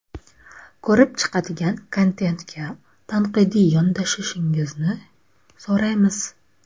Ko‘rib chiqadigan kontentga tanqidiy yondashishingizni so‘raymiz.